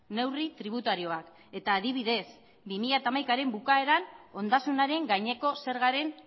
neurri tributarioak eta adibidez bi mila hamaikaren bukaeran ondasunaren gaineko zergaren